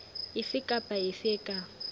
efe kapa efe e ka